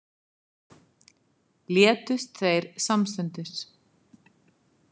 Létust þeir samstundis